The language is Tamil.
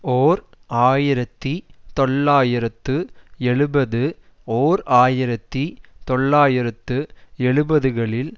ஓர் ஆயிரத்தி தொள்ளாயிரத்து எழுபது ஓர் ஆயிரத்தி தொள்ளாயிரத்து எண்பதுகளில்